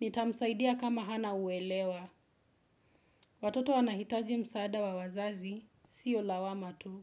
Nitamsaidia kama hana uelewa. Watoto wanahitaji msaada wa wazazi, siyo lawama tu.